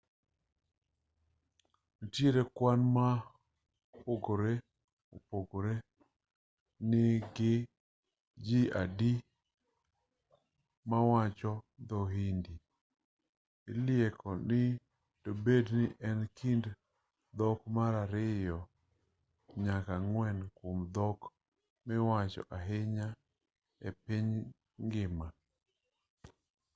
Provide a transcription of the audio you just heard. nitiere kwan mopogore opogore ni gi ji adi mawacho dho-hindi ilieko ni dobed ni en e kind dhok mar ariyo nyaka ang'wen kuom dhok miwacho ahinya e piny ngima